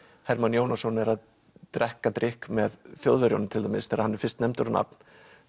Hermann Jónasson er að drekka drykk með Þjóðverjunum til dæmis þegar hann er fyrst nefndur á nafn